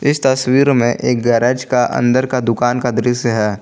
तस्वीर में एक गैरेज का अंदर का दुकान का दृश्य है।